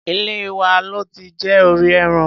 Ilé wa lo ti jẹ orí ẹran.